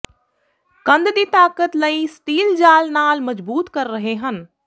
ਕੰਧ ਦੀ ਤਾਕਤ ਲਈ ਸਟੀਲ ਜਾਲ ਨਾਲ ਮਜਬੂਤ ਕਰ ਰਹੇ ਹਨ